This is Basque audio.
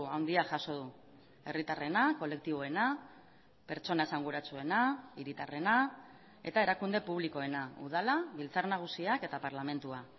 handia jaso du herritarrena kolektiboena pertsona esanguratsuena hiritarrena eta erakunde publikoena udala biltzar nagusiak eta parlamentua